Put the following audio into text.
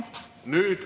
Peeter Rahnel, palun!